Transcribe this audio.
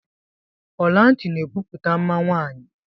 Ọlanti na ebupute mma nwaanyị.